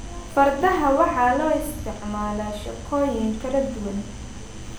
Fardaha waxaa loo isticmaalaa shaqooyin kala duwan.